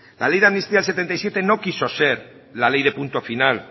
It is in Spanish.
la ley de amnistía del setenta y siete no quiso ser la ley de punto final